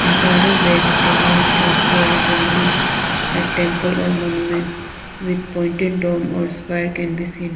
In farther back a large structure resembling a temple or monument with pointed dome or spire can be seen.